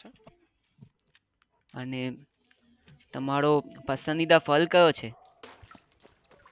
અને તમારું પસંદીદા ફળ કયું છે?